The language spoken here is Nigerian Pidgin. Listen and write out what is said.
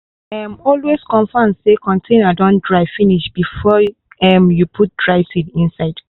um always confirm say container don dry finish before um you put dry seed inside.